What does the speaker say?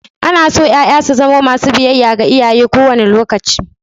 Ana so ƴaƴa su zamo masu biyayya ga iyaye kowane lokaci.